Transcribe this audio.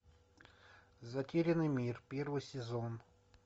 затерянный мир первый сезон